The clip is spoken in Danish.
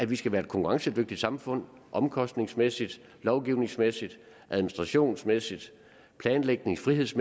vi skal være et konkurrencedygtigt samfund omkostningsmæssigt lovgivningsmæssigt administrationsmæssigt planlægningsmæssigt